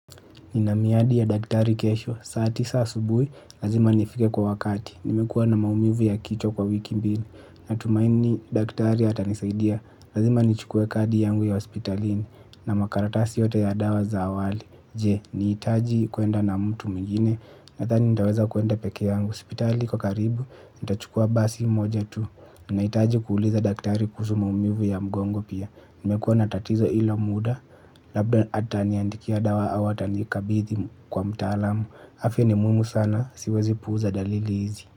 Nina miadi ya daktari kesho saa tisa asubuhi lazima nifike kwa wakati nimekuwa na maumivu ya kichwa kwa wiki mbili natumaini daktari ata nisaidia lazima nichukue kadi yangu ya hospitalini na makaratasi yote ya dawa za awali. Je, ni itaji kwenda na mtu mwingine, nadhani nitaweza kwenda peke yangu, hospitali iko karibu, nitachukua basi moja tu. Na itaji kuuliza daktari kuhusu maumivu ya mgongo pia. Nimekuwa na tatizo ilo muda. Labda ataniandikia dawa au atanikabithi kwa mtaalamu. Afya ni muimu sana siwezi puuza dalili hizi.